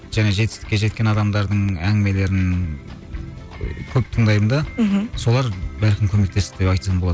және жетістікке жеткен адамдардың әңгімелерін көп тыңдаймын да мхм солар бәлкім көмектесті деп айтсам болады